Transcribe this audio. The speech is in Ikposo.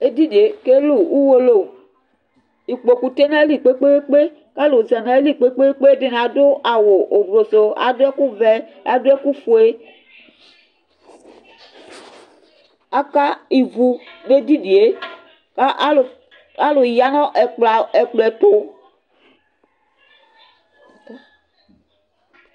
Edini kɛlʋ Ʋwolowʋ ikpokʋ tsue nʋ ayili kpe kpe kpe, alʋ zanʋ ayili kpe kpe kpe, ɛdini adʋ awʋ ʋblʋsʋ, adʋ ɛkʋvɛ, adʋ ɛkʋfue, aka ivu nʋ edinie kʋ alʋ yanʋ ɛkplɔ ɛtʋ